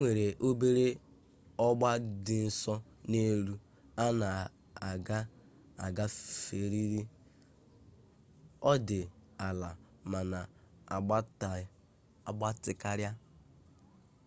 enwere obere ọgba dị nso n'elu a na-aga-agaferịrị ọ dị ala ma na-agbatị karịa